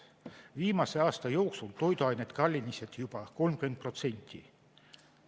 Viimase aasta jooksul on toiduained kallinenud juba 30%.